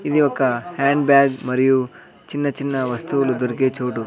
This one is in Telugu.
ఇది ఒక హ్యాండ్ బ్యాగ్ మరియు చిన్న చిన్న వస్తువులు దొరికే చోటు.